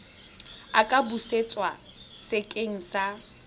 a ka busetswa sekeng sa